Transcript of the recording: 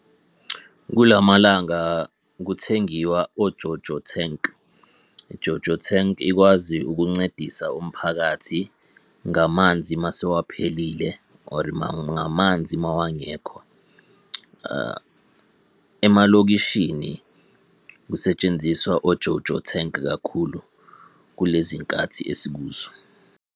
Kula malanga kuthengiwa o-Jojo tank. I-Jojo tank ikwazi ukuncedisa umphakathi ngamanzi masewaphelile or ngamanzi mawangekho . Emalokishini kusetshenziswa o-Jojo tank kakhulu, kulezi khathi esikuzo.